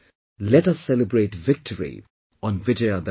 Let us celebrate victory on Vijayadashmi